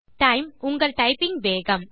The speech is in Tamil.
டைம் - உங்கள் டைப்பிங் வேகம்